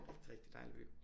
Rigtig rigtig dejlig by